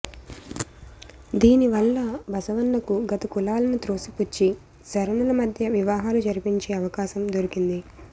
దీనివల్ల బసవన్నకు గత కులాలను త్రోసిపుచ్చి శరణుల మధ్య వివాహాలు జరిపించే అవకాశం దొరికింది